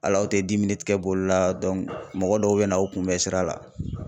Hali aw tɛ [cs boli la mɔgɔ dɔw bɛ na aw kunbɛ sira la.